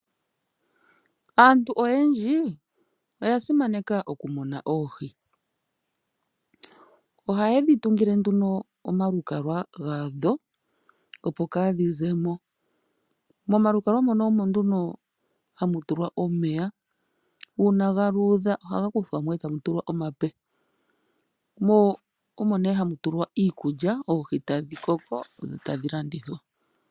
Aantu oyendji oyasimaneka okumuna oohi ohaye dhi tungile omalukalwa gadho opo kadhi zemo .Momalukalwa muka ohamu tulwa omeya una galudha ohaga kuthwa mo eta mu tulwa omape .Momeya moka ohamu tulwa iikulya yokufalutha oohi nosho wo yokudhivalitha opo dhi iindjipala dho dhilandithwe dhete iiyemo.